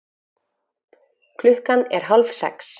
Klukkan er hálfsex.